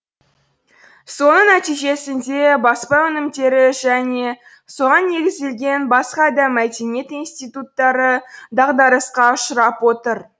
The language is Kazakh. соның нәтижесінде баспа өнімдері және соған негізделген басқа да мәдениет институттары дағдарысқа ұшырап отыр